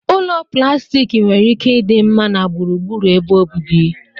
Ụlọ plastik nwere ike ịdị mma na gburugburu ebe obibi.